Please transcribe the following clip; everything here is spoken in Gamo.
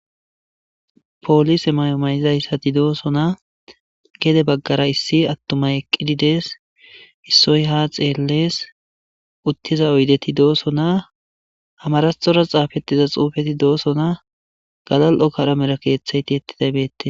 poolise mayo ma'izayssatti doosona gede baggara issi attumay eqqidi dees issoy ha xeellees uttiza oydeti doosonaa amaraxora xaafettiza xuufeti doosonaa galali'ora kalamera keeththey tiyetidays bettees